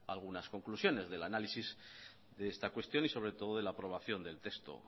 algunas conclusiones del análisis de esta cuestión y sobre todo de la aprobación del texto